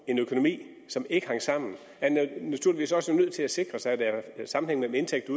en økonomi som ikke hang sammen er naturligvis også nødt til at sikre sig at der er en sammenhæng mellem indtægter